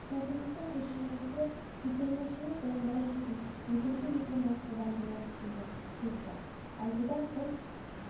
кітабыңыздың көшірмесі көтермешінің қолында жүрсін өтімді екенін содан білеміз деген сөз бар ал бұдан тыс